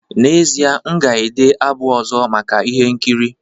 N'ezie, m ga-ede abụ ọzọ maka ihe nkiri